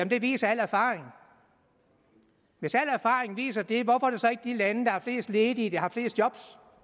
det viser al erfaring hvis al erfaring viser det hvorfor er det så ikke de lande der har flest ledige der har flest job